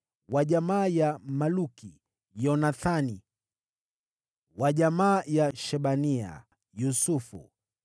wa jamaa ya Maluki, Yonathani; wa jamaa ya Shebania, Yosefu;